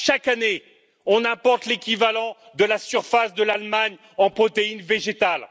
Chaque année, on importe l'équivalent de la surface de l'Allemagne en protéines végétales.